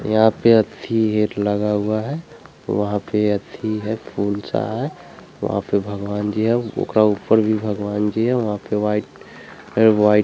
यहाँ पे अथि गेट लगा हुआ है वहाँ पे अथि है फूल सा हे वहाँ पे भगवान जी है औकरा ऊपर में भी भगवन जी है वहाँ पे वाइट --